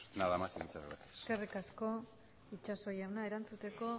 nada más y muchas gracias eskerrik asko itxaso jauna erantzuteko